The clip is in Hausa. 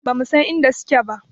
Ba mu san inda suke ba